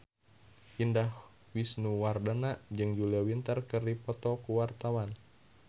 Indah Wisnuwardana jeung Julia Winter keur dipoto ku wartawan